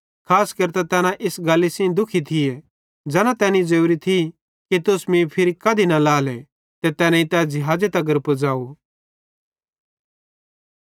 खास केरतां तैना इस गल्ली सेइं दुखी थी ज़ैना तैनी ज़ोरी थी कि तुस मीं फिरी कधी न लाएले ते तैनेईं तै ज़िहाज़े तगर पज़ाव